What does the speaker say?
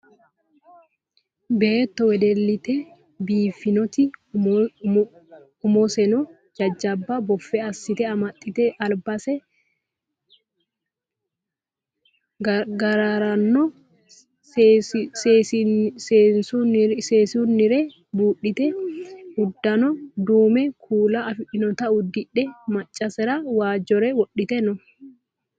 Beetto wedellite biiffanoti umoseno jajjaba boffe assite amaxxite albise gaarirano seesunnire buudhite uddano duumo kuula afidhinota uddidhe maccasera waajjore wodhite no.